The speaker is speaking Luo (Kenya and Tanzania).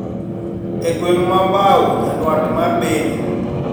E gwenge mag Mbau nyadwat mar Beni